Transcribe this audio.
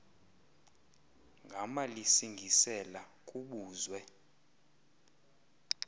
gama lisingisela kubuzwe